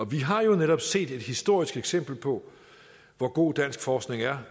vi har jo netop set et historisk eksempel på hvor god dansk forskning er